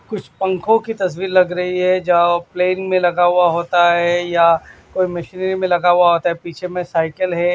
कुछ पंखों की तस्वीर लग रही है जाओ प्लेन में लगा हुआ होता है या कोई मशीनरी में लगा हुआ होता है पीछे में साइकिल है।